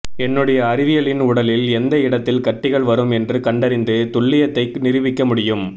என்னுடைய அறிவியலின் உடலில் எந்த இடத்தில் கட்டிகள் வரும் என்று கண்டறிந்து துல்லியத்தை நிரூபிக்க முடியும்